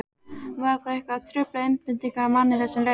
Var það eitthvað að trufla einbeitingu manna í þessum leik?